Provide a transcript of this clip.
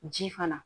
Ji fana